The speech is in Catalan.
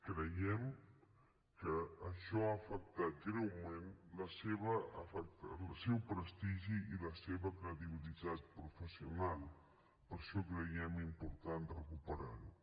creiem que això ha afectat greument el seu prestigi i la seva credibilitat professional per això creiem important recuperar lo